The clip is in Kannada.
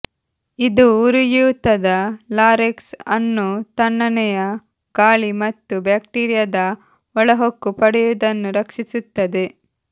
ಇದು ಉರಿಯೂತದ ಲಾರೆಕ್ಸ್ ಅನ್ನು ತಣ್ಣನೆಯ ಗಾಳಿ ಮತ್ತು ಬ್ಯಾಕ್ಟೀರಿಯಾದ ಒಳಹೊಕ್ಕು ಪಡೆಯುವುದನ್ನು ರಕ್ಷಿಸುತ್ತದೆ